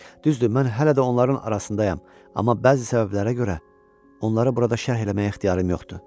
Düzdür, mən hələ də onların arasındayam, amma bəzi səbəblərə görə onları burada şərh eləməyə ixtiyarım yoxdur.